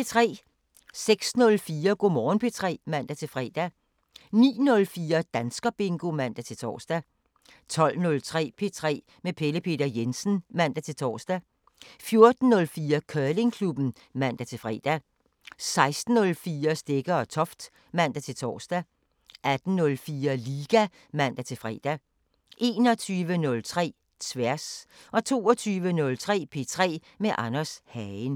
06:04: Go' Morgen P3 (man-fre) 09:04: Danskerbingo (man-tor) 12:03: P3 med Pelle Peter Jensen (man-tor) 14:04: Curlingklubben (man-fre) 16:04: Stegger & Toft (man-tor) 18:04: Liga (man-fre) 21:03: Tværs 22:03: P3 med Anders Hagen